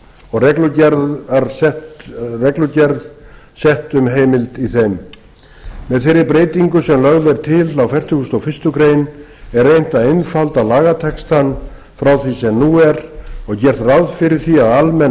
og reglugerð sett um heimild í þeim með þeirri breytingu sem lögð er til á fertugasta og fyrstu grein er reynt að einfalda lagatextann frá því sem nú er og gert ráð fyrir því að almenn